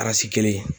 kelen